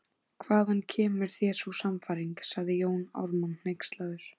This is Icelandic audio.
Hvaðan kemur þér sú sannfæring, sagði Jón Ármann hneykslaður